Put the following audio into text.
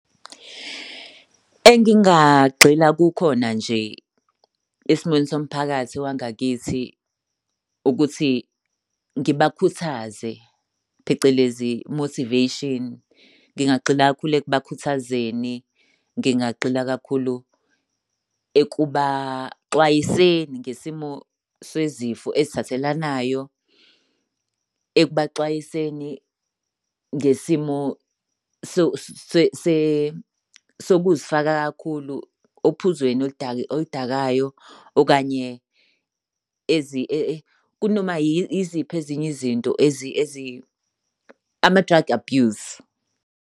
Engingagxila kukhona nje esimweni somphakathi wangakithi ukuthi ngibakhuthaze phecelezi motivation, ngingagxila kakhulu ukubakhuthazeni. Ngingagxila kakhulu ekubaxwayiseni ngesimo sezifo ezithathelanayo. Ekubaxwayisenzi ngesimo sokuzifaka kakhulu ophuzweni oludakayo okanye kunoma yiziphi ezinye izinto ama-drug abuse.